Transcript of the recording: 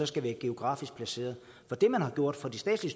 skal være geografisk placeret for det man har gjort for de statslige